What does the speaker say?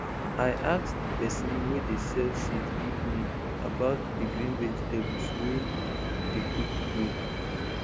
i ask di pesin wey dey sell seed give me about di green vegetables wey dey quick grow